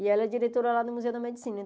E ela é diretora lá do Museu da Medicina.